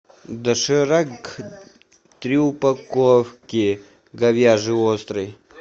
доширак три упаковки говяжий острый